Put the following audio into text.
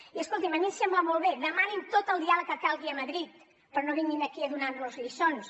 i escolti’m a mi em sembla molt bé demanin tot el diàleg que calgui a madrid però no vinguin aquí a donar nos lliçons